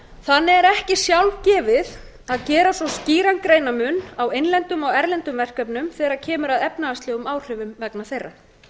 þannig er ekki sjálfgefið að gera þarf skýran greinarmun á innlendum og erlendum verkefnum þegar kemur að efnahagslegum áhrifum vegna þeirra